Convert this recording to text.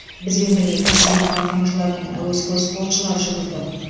бізбен бірге кәсіби марафоншылар мен әуесқой спортшылар жүгірді